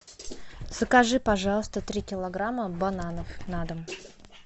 закажи пожалуйста три килограмма бананов на дом